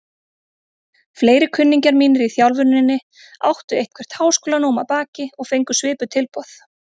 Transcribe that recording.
Fleiri kunningjar mínir í þjálfuninni áttu eitthvert háskólanám að baki og fengu svipuð tilboð.